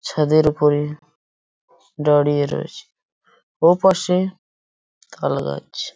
ছাদের ওপরে দাঁড়িয়ে রয়েছে ওপাশে তালগাছ।